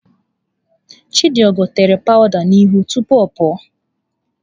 Chidigo tere powụda n'ihu tupu ọ pụọ.